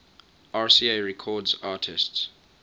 rca records artists